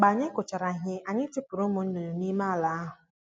Mgbe anyị kụchara ihe, anyị chụpụrụ ụmụ nnụnụ n'ime ala ahụ